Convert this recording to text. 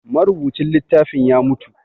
Marubucin littafin ya mutu